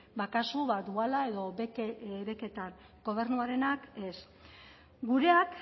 ba kasu duala edo beketan gobernuarenak ez gureak